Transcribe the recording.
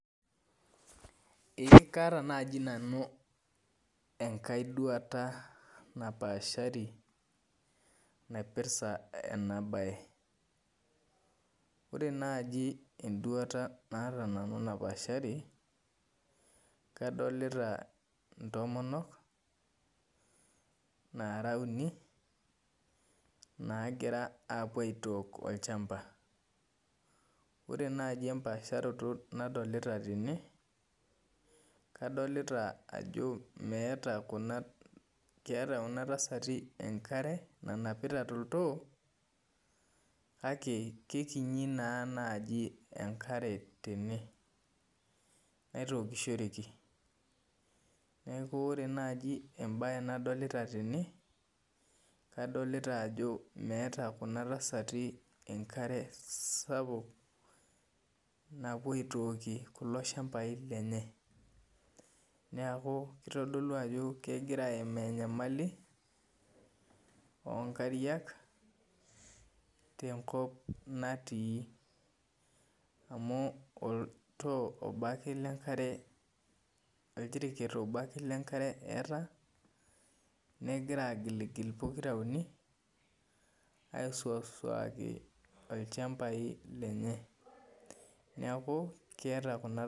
Ee kaata nai nanu enkai duata napaashari naipirta najibenduata naata nanu napaashari kadolta ntomonok nara uni nagira apuo aitook olchamba ore nai empaasharoto nadolita tene kadolita ajo keeta kuna tasati enkare nanapita toltoo kake kekinyi nai enkare tene naitukishoreki neaku ore nai embae nadolta tene kadolita ajo meeta kuna tasati enkare sapuk napuobaitookie kulo shambai lenye neaku itodolu ajo kegira aimaa enyamali onkariak tenkop natii amu oltoo obo ake otii amu oljiriket obo ake eetae negira agiligil pokira uni aisuaki lchambai lenye neaku keeta kuna tasati.